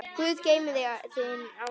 Guð geymi þig, þín, Ásdís.